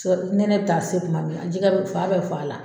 Nɛnɛ bi taa se kuma min na jɛgɛ b fan bɛɛ bi f'a la.